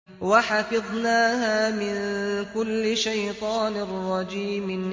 وَحَفِظْنَاهَا مِن كُلِّ شَيْطَانٍ رَّجِيمٍ